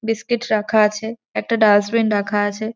Biscuit রাখা আছে একটা ডাস্টবিন রাখা আছে।